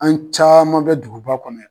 An caman bɛ duguba kɔnɔ yan